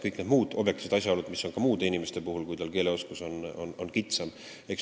Kõik need on objektiivsed asjaolud, mis toimivad ka muude inimeste puhul, kui nende keeleoskus on kitsam.